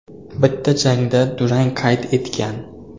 Bitta jangda durang qayd etgan.